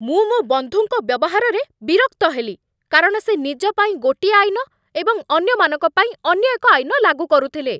ମୁଁ ମୋ ବନ୍ଧୁଙ୍କ ବ୍ୟବହାରରେ ବିରକ୍ତ ହେଲି କାରଣ ସେ ନିଜ ପାଇଁ ଗୋଟିଏ ଆଇନ ଏବଂ ଅନ୍ୟମାନଙ୍କ ପାଇଁ ଅନ୍ୟ ଏକ ଆଇନ ଲାଗୁକରୁଥିଲେ।